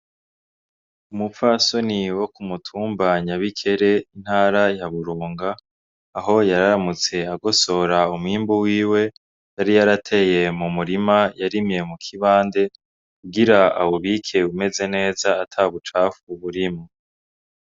Umupfasoni wo k'umutumba Nyabikere ,Intara ya Burunga, aho yaramutse agosora umwimbu wiwe ,yari yarateye m'umurima yarimye mukibande, kugira awubike umeze neza atabucafu burimwo.